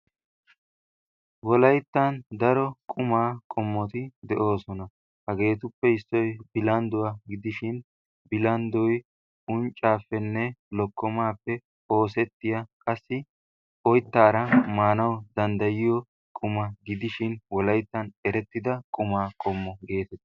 Wolayttan daro qumaa qommoti de'oosona. hageetuppe issoy bilaqndduwaa gidishin bilanddoy unccaapenne lokomaappe oosettiyaa qassi oyttaara maanawu danddayiyo quma gidishin wolayttan erettida quma qommo geetettes.